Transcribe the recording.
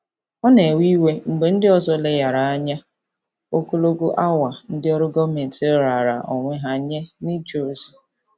Ọ na-ewe iwe mgbe ndị ọzọ leghaara anya ogologo awa ndị ọrụ gọọmentị raara onwe ha nye n'ije ozi.